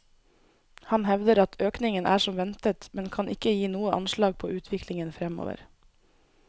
Han hevder at økningen er som ventet, men kan ikke gi noe anslag på utviklingen fremover.